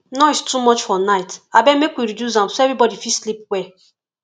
noise too much for night abeg make we reduce am so everybody fit sleep well